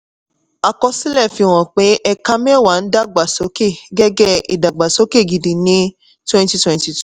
àkọsílẹ̀ fihàn pé ẹ̀ka mẹ́wàá ń dàgbà sókè gẹ́gẹ́ ìdàgbàsókè gidi ní twenty twenty-two.